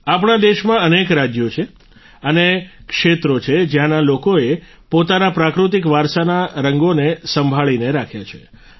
આપણા દેશમાં અનેક રાજ્ય છે અને ક્ષેત્રો છે જ્યાંના લોકોએ પોતાના પ્રાકૃતિક વારસાના રંગોને સંભાળીને રાખ્યા છે